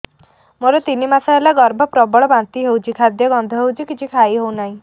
ମୋର ତିନି ମାସ ହେଲା ଗର୍ଭ ପ୍ରବଳ ବାନ୍ତି ହଉଚି ଖାଦ୍ୟ ଗନ୍ଧ ହଉଚି କିଛି ଖାଇ ହଉନାହିଁ